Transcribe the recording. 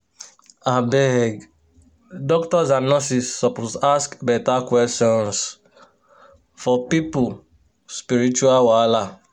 abeg doctors and nurses suppose ask beta questions for people spiritual wahala. um